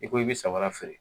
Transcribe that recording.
I ko i be sawaraki feere